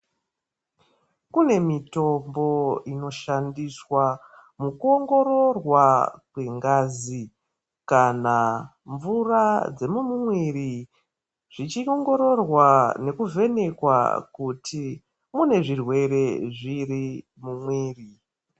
Kune mitombo inoshandiswa mukuongororwa kwengazi kana mvura dzemumwiri zvichiongororwa nekuvhenekwa kuti une zvirwere zvipi mumwiri.